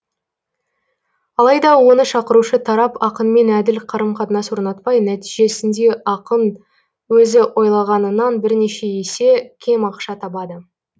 алайда оны шақырушы тарап ақынмен әділ қарым қатынас орнатпай нәтижесінде ақын өзі ойлағанынан бірнеше есе кем ақша табады